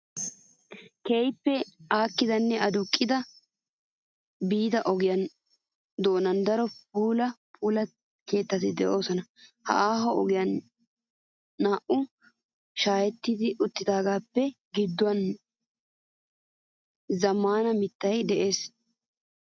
Keehippe aakkidinne aduqqidi biigida ogiyaa donan daro puula puula kettati doosona. Ha aaho ogee naa''awu shaahetti uttaagaappe gidduwan zambbaa mittayi des.